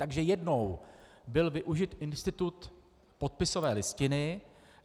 Takže jednou byl využit institut podpisové listiny.